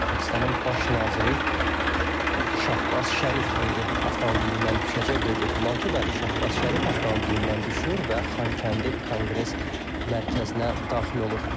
Pakistanın baş naziri Şahbaz Şərif indi avtomobilindən düşəcək, böyük ehtimal ki, bəli, Şahbaz Şərif avtomobilindən düşür və Xankəndi Konqres Mərkəzinə daxil olur.